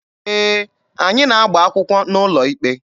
Ee, anyị na-agba akwụkwọ n'ụlọ ikpe.